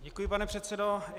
Děkuji, pane předsedo.